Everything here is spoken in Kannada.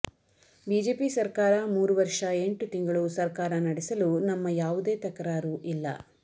ಬಿಜೆಪಿ ಸರ್ಕಾರ ಮೂರು ವರ್ಷ ಎಂಟು ತಿಂಗಳು ಸರ್ಕಾರ ನಡೆಸಲು ನಮ್ಮ ಯಾವುದೇ ತಕರಾರು ಇಲ್ಲ